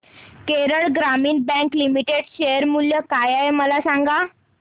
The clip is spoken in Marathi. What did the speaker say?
केरळ ग्रामीण बँक लिमिटेड शेअर मूल्य काय आहे मला सांगा